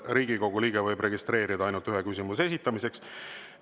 Riigikogu liige võib registreeruda ainult ühe küsimuse esitamiseks.